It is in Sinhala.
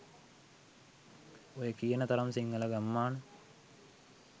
ඔය කියන තරම් සිංහල ගම්මාන